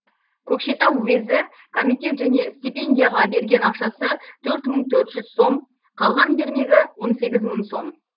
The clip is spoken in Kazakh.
көкшетау уезі комитет және стипендияға берген ақшасы төрт мың төрт жүз сом қалған бермегі он сегіз мың сом